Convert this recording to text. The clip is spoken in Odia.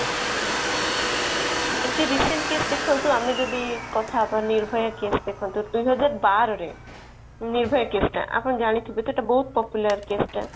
ଏମିତି recent case ଦେଖନ୍ତୁ ଆମେ ଯଦି କଥା ହବା ନିର୍ଭୟା case ଦେଖନ୍ତୁ ଦୁଇହଜାର ବାରରେ ନିର୍ଭୟା case ଟା ଆପଣ ଜାଣିଥିବେ ତ ଏଇଟା ବହୁତ popular case ଟା